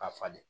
A falen